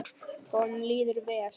Honum líður vel.